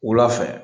Wula fɛ